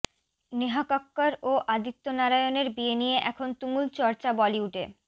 নেহা কক্কর ও আদিত্য নারায়ণের বিয়ে নিয়ে এখন তুমুল চর্চা বলিউডে